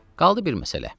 Qaldı bir məsələ.